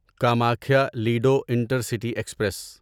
Kamakhya Ledo intercity express